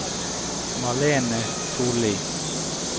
Malene Solli